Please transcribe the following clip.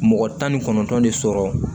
Mɔgɔ tan ni kɔnɔntɔn de sɔrɔ